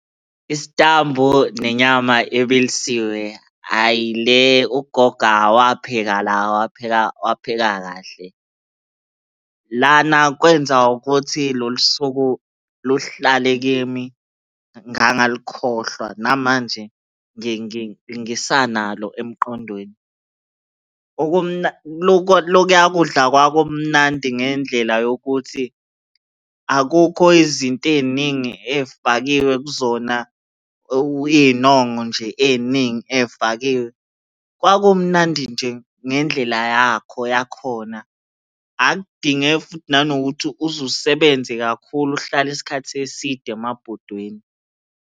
Isitambu nenyama ebilisiwe, hhayi le ugogo wapheka la wapheka kahle. Lana kwenza ukuthi lolu suku luhlale kimi ngangalukhohlwa namanje ngisanalo emqondweni. Lokuya kudla kwakumnandi ngendlela yokuthi akukho izinto ey'ningi ey'fakiwe kuzona, iy'nongo nje ey'ningi ey'fakiwe. Kwakumnandi nje ngendlela yakho yakhona. Akudinge futhi nanokuthi uze usebenze kakhulu uhlale isikhathi eside emabhodweni.